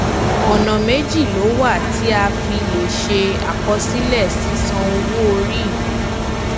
ọnà méjì ló wà tí a fi lè ṣe akosílè sisan owo ori yi